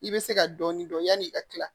I bɛ se ka dɔɔnin dɔn yanni i ka tila